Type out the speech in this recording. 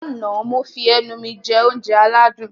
Lánàá, mo fi ẹnu mi jẹ oúnjẹ aládùn